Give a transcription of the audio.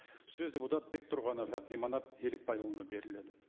сөз депутат бектұрғанов әбдіманап елікбайұлына беріледі